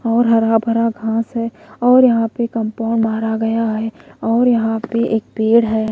और हरा भरा घास है और यहां पे कंपाउंड उभारा गया है और यहां पे एक पेड़ हैं।